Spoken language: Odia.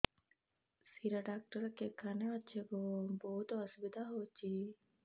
ଶିର ଡାକ୍ତର କେଖାନେ ଅଛେ ଗୋ ବହୁତ୍ ଅସୁବିଧା ହଉଚି